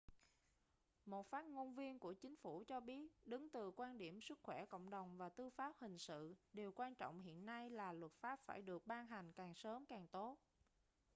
một phát ngôn viên của chính phủ cho biết đứng từ quan điểm sức khỏe cộng đồng và tư pháp hình sự điều quan trọng hiện nay là luật pháp phải được ban hành càng sớm càng tốt